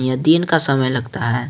यह दिन का समय लगता है।